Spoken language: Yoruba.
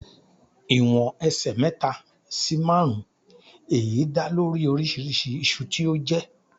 Ìwọ̀n ẹsẹ̀ mẹ́ta sì márùn-ún, èyí dá lórí oríṣiríṣi iṣu tí ó jé.